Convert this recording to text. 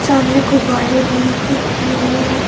सामने गुब्बारे भी दिख रहे हैं।